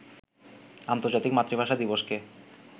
আন্তর্জাতিক মাতৃভাষা দিবসকে